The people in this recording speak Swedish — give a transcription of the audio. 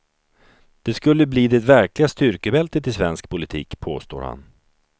Det skulle bli det verkliga styrkebältet i svensk politik, påstår han.